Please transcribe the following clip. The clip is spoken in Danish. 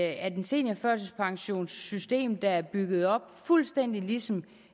at et seniorførtidspensionssystem der er bygget op fuldstændig ligesom